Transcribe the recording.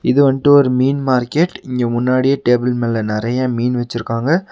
இது வன்ட்டு ஒரு மீன் மார்க்கெட் இங்க முன்னாடியே டேபிள் மேல நெறையா மீன் வெச்சிருக்காங்க.